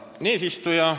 Hea eesistuja!